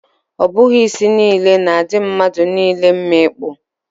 Ọ bụghị isi niile na-adị mmadụ niile mma ịkpụ.